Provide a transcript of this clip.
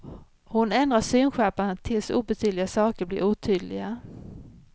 Hon ändrar synskärpan tills obetydliga saker blir otydliga.